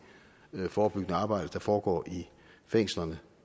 forebyggende arbejde der foregår i fængslerne